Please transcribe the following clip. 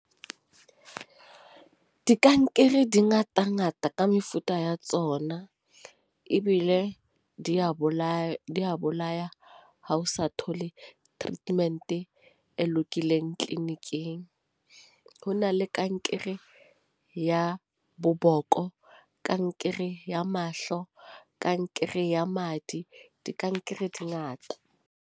Dikankere di ngata ngata ka mefuta ya tsona ebile di a bolaya di a bolaya ha o sa thole treatment e lokileng clinic-ing. Ho na le kankere ya bo boko, kankere ya mahlo, kankere ya madi. Dikankere di ngata.